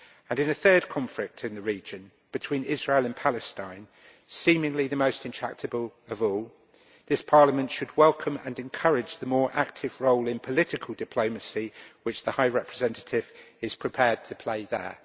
In a third conflict in the region between Israel and Palestine seemingly the most intractable of all this Parliament should welcome and encourage the more active role in political diplomacy which the High Representative is prepared to play there.